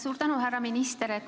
Suur tänu, härra minister!